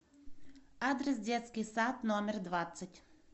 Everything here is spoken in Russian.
адрес детский сад номер двадцать